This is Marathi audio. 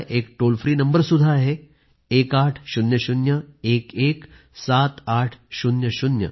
एक टोल फ्री नंबर सुद्धा आहे 1800 11 7800